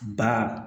Ba